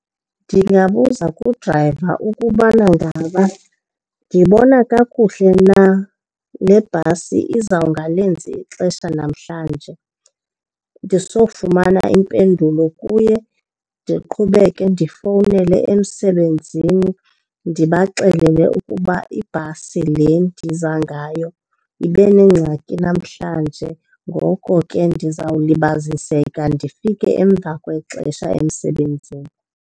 Ndingabuza kudrayiva ukubana ngaba ndibona kakuhle na le bhasi izawungalenzi ixesha namhlanje. Ndisofumana impendulo kuye ndiqhubeke ndifowunele emsebenzini ndibaxelele ukuba ibhasi le ndiza ngayo ibenengxaki namhlanje ngoko ke ndizawulibaziseka ndifike emva kwexesha emsebenzini.